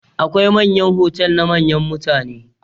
Akwai hotal na manyan mutane.